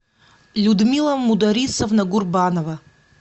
людмила мударисовна гурбанова